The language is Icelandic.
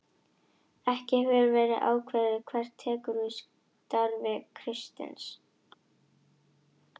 Ekki hefur verið ákveðið hver tekur við starfi Kristins.